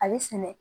A bɛ sɛnɛ